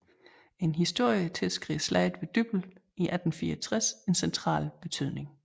En historie tilskriver Slaget ved Dybbøl i 1864 en central betydning